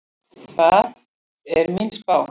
Það er mín spá.